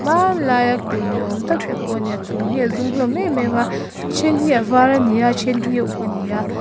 hman laia kulh ni awm tak te pawh a ni a chung hi a zum hlawm em em a a then hi a var a ni a a then hi a uk a ni a.